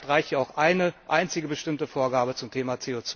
Vielleicht reicht ja auch eine einzige bestimmte Vorgabe zum Thema